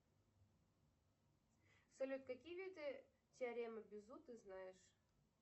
салют какие виды теоремы безу ты знаешь